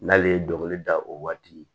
N'ale ye dɔnkili da o waati ye